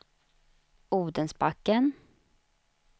Odensbacken